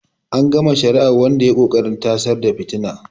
An gama shari'ar wanda ya yi ƙoƙarin tasar da fitina.